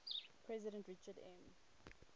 president richard m